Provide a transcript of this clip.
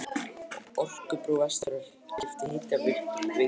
Orkubú Vestfjarða keypti Hitaveitu Reykhóla.